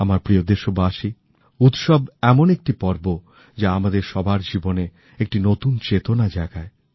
আমার প্রিয় দেশবাসী উৎসব এমন একটি পর্ব যা আমাদের সবার জীবনে একটি নতুন চেতনা জাগায়